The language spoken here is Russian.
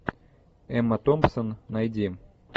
эмма томпсон найди